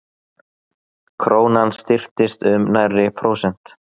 Krónan styrktist um nærri prósent